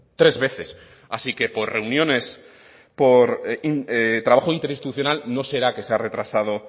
tres veces así que por reuniones por trabajo interinstitucional no será que se ha retrasado